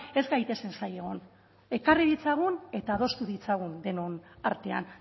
ez gaitezen zain egon ekarri ditzagun eta adostu ditzagun denon artean